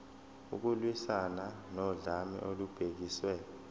ukulwiswana nodlame olubhekiswe